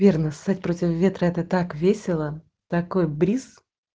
верно ссать против ветра это так весело такой бриз